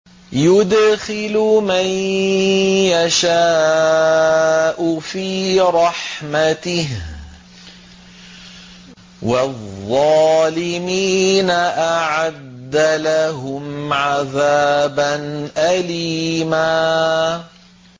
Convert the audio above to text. يُدْخِلُ مَن يَشَاءُ فِي رَحْمَتِهِ ۚ وَالظَّالِمِينَ أَعَدَّ لَهُمْ عَذَابًا أَلِيمًا